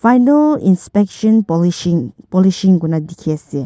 final inspection polishing polishing kure na dikhi ase.